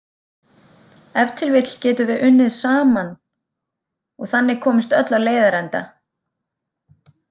Ef til vill getum við unnið saman og þannig komist öll á leiðarenda.